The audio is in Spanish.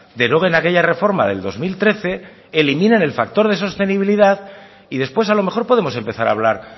deroguen aquella reforma del dos mil trece eliminen el factor de sostenibilidad y después a lo mejor podemos empezar a hablar